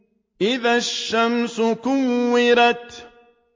إِذَا الشَّمْسُ كُوِّرَتْ